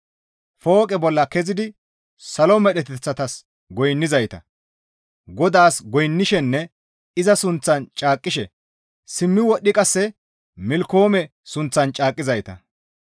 Fooqe bolla kezidi salo medheteththatas goynnizayta, GODAAS goynnishenne iza sunththan caaqqishe simmi wodhidi qasse Milkkoome sunththan caaqqizayta,